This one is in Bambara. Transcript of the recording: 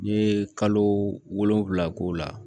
N ye kalo wolonwula k'o la